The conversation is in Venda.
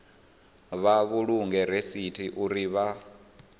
vha vhulunge rasithi uri vha